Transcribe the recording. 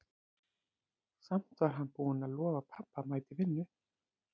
Samt var hann búinn að lofa pabba að mæta í vinnu.